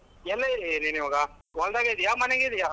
ಎಲ್ಲಿದಿಯ ನೀನ್ ಇವಾಗ ಹೊಲ್ದಾಗೆ ಇದ್ಯ ಮನೆಗ್ ಇದ್ಯ?